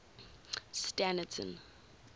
standerton